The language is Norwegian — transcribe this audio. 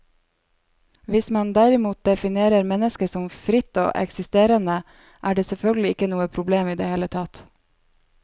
Hvis man derimot definerer mennesket som fritt og eksisterende, er det selvfølgelig ikke noe problem i det hele tatt.